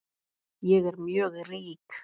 Ég er mjög rík